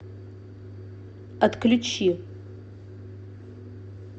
отключи